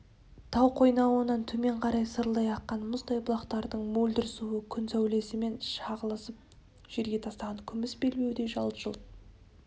тау қойнауынан төмен қарай сарылдай аққан мұздай бұлақтардың мөлдір суы күн сәулесімен шағылысып жерге тастаған күміс белбеудей жалт-жұлт